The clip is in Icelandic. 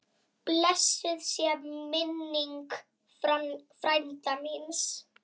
Blessuð sé minning frænda míns.